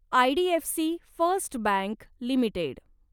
IDFC first bank limited